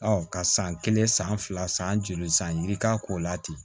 ka san kelen san fila san joli san yirika k'o la ten